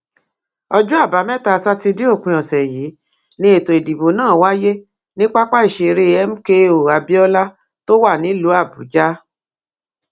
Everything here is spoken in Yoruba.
ọjọ àbámẹta sátidé òpin ọsẹ yìí ni ètò ìdìbò náà wáyé ní pápá ìṣeré mko abiola tó wà nílùú àbújá